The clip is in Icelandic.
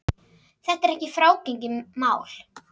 Þetta er ekki frágengið mál